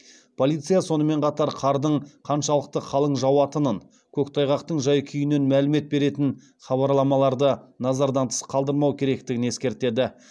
полиция сонымен қатар қардың қаншалықты қалың жауатынын көктайғақтың жай күйінен мәлімет беретін хабарламаларды назардан тыс қалдырмау керектігін ескертеді